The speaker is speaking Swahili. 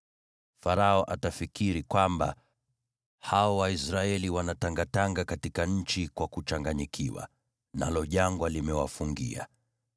Farao atafikiri kwamba, ‘Hao Waisraeli wanatangatanga katika nchi kwa kuchanganyikiwa, nalo jangwa limewafungia.’